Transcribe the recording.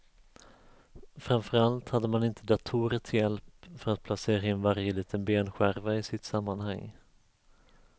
Framför allt hade man inte datorer till hjälp för att placera in varje liten benskärva i sitt sammanhang.